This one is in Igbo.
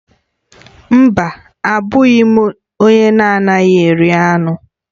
Mba, abụghị m onye na-anaghị eri anụ